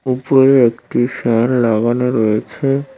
ওপরে একটি ফ্যান লাগানো রয়েছে।